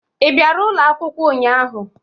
Ị bịara ụlọ akwụkwọ ụnyaahụ?